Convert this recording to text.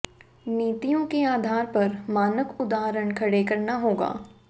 नीतियों के आधार पर मानक उदाहरण खड़े करना होगा